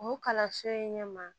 U kalanso in ɲɛma